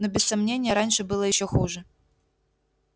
но без сомнения раньше было ещё хуже